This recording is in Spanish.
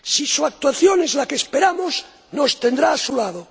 Si su actuación es la que esperamos, nos tendrá a su lado.